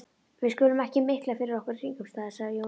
Við skulum ekki mikla fyrir okkur kringumstæður, sagði Jón Arason.